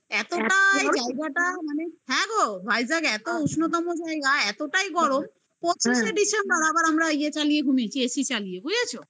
এতটাই জায়গাটা মানে হ্যাঁ গো vijack এত উষ্ণতম জায়গা এতটাই গরম পঁচিশে পঁচিশে December আবার আমরা ইয়ে চালিয়ে ঘুমিয়েছি AC চালিয়ে বুঝেছো?